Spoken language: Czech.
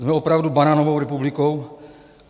Jsme opravdu banánovou republikou?